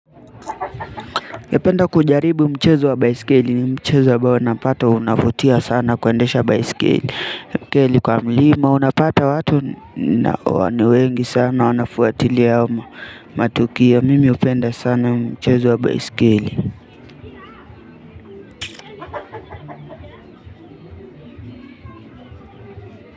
Napenda kujaribu mchezo wa baisikeli ni mchezo ambao unapata unavutia sana kuendesha baisikeli. Baiskeli kwa mlima unapata watu huwa ni wengi sana wanafuatilia wa matukio mimi hupenda sana mchezo wa baisikeli.